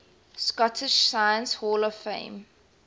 scottish science hall of fame